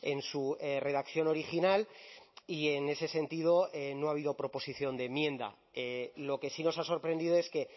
en su redacción original y en ese sentido no ha habido proposición de enmienda lo que sí nos ha sorprendido es que